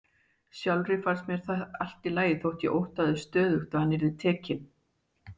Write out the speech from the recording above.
Sjálfri fannst mér það allt í lagi þótt ég óttaðist stöðugt að hann yrði tekinn.